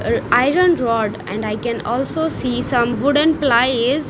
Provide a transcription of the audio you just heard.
Iron rod and i can also see some wooden plies.